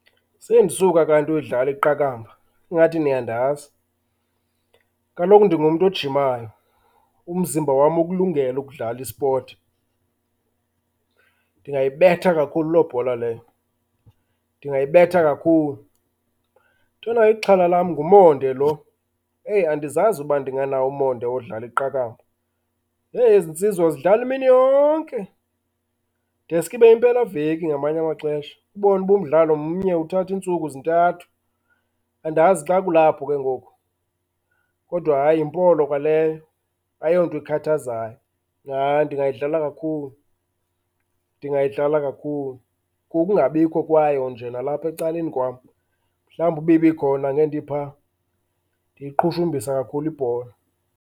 Sendisuka kanti uyidlala iqakamba, ingathi niyandazi. Kaloku ndingmuntu ojimayo, umziba wam ukulungele ukudlala ispoti. Ndingayibetha kakhulu loo bhola leyo, ndingayibetha kakhulu. Ntona ixhala lam ngumonde loo. Eyi andizazi uba ndinganawo umonde wodlala iqakamba. Heyi, ezi nsizwa zidlala imini yonke deske ibe yimpelaveki ngamanye amaxesha, ubone uba umdlalo mnye, uthathe iintsuku, zintathu. Andazi xa kulapho ke ngoku, kodwa hayi yimpolo kwaleyo, ayonto ekhathazayo. Hayi ndingayidlala kakhulu, ndingayidlala kakhulu. Kukungabikho kwayo nje nalapha ecaleni kwam. Mhalwumbi uba ibikhona ngendiphaa ndiyiqhushumbisa kakhulu ibhola.